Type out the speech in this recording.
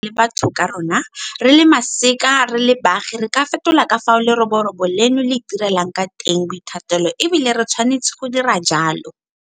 Ka maitsholo a rona re le batho ka borona, re le masika, re le baagi re ka fetola ka fao leroborobo leno le itirelang ka teng boithatelo e bile re tshwanetse go dira jalo.